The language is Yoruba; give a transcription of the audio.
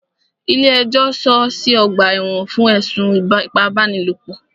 Ilé ẹjọ́ sọọ́ sí ọ̀gbà ẹ̀wọ̀n fún ẹ̀sùn ipábánilòpọ̀.